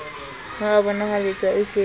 o a bonahaletsa o ke